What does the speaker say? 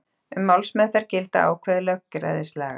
Um málsmeðferð gilda ákvæði lögræðislaga.